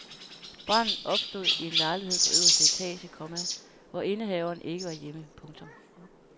Branden opstod i en lejlighed på øverste etage, komma hvor indehaveren ikke var hjemme. punktum